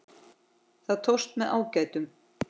Það tókst með ágætum.